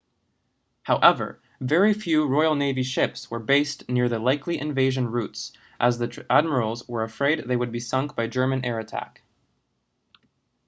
however very few royal navy ships were based near the likely invasion routes as the admirals were afraid they would be sunk by german air attack